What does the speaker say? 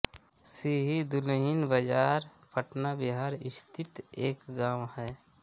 सीही दुल्हिनबाजार पटना बिहार स्थित एक गाँव है